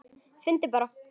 Finndu bara!